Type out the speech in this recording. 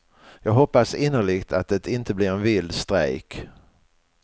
Jag hoppas innerligt att det inte blir en vild strejk.